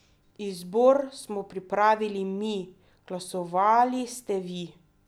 Izbor smo pripravili mi, glasovali ste vi!